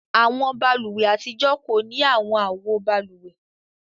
Awọn bálùwẹ̀ atijọ ko ni awọn awo bálúwẹ̀.